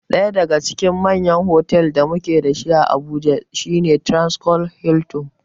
Ɗaya daga cikin manyan fotal ɗin da mu ke da su a Abuja shi ne Transcorp Hiltin.